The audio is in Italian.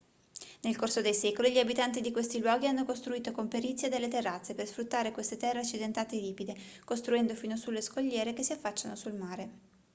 nel corso dei secoli gli abitanti di questi luoghi hanno costruito con perizia delle terrazze per sfruttare queste terre accidentate e ripide costruendo fino sulle scogliere che si affacciano sul mare